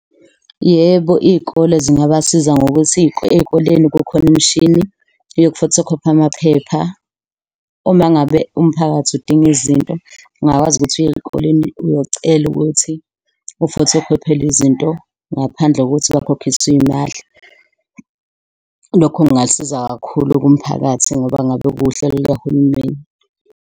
Yebo, iy'kole zingabasiza ngokuthi ey'koleni kukhona imishini yoku-photocopy-a amaphepha uma ngabe umphakathi udinga izinto, ungingakwazi ukuthi uye ey'koleni uyocela ukuthi u-photocopy-elwe izinto ngaphandle kokuthi bakhokhiswe iy'mali. Lokho kungasiza kakhulu kumphakathi ngoba ngabe kuwuhlelo lukahulumeni.